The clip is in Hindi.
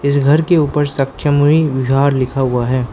इस घर के ऊपर सक्यामुनि विहार लिखा हुआ है।